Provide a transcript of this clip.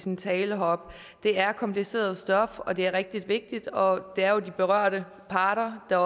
sin tale heroppe det er kompliceret stof og det er rigtig vigtigt og det er jo de berørte parter der